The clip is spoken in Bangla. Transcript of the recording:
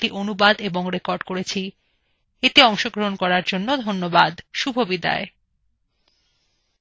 অন্তরা এই tutorial অনুবাদ এবং রেকর্ড করেছেন এই tutorialএ অংশগ্রহন করার জন্য ধন্যবাদ শুভবিদায়